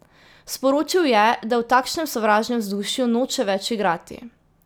Sporočil je, da v takšnem sovražnem vzdušju noče več igrati.